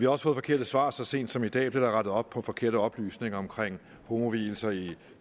også fået forkerte svar så sent som i dag bliver der rettet op på forkerte oplysninger om homovielser i